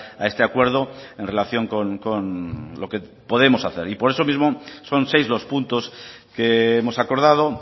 a este acuerdo en relación con lo que podemos hacer y por eso mismo son seis los puntos que hemos acordado